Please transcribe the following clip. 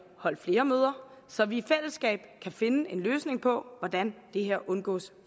holdt flere møder så vi i fællesskab kan finde en løsning på hvordan det her undgås